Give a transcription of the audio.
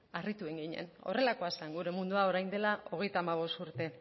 harritu egin ginen horrelakoa zen gure mundua orain dela hogeita hamabost urte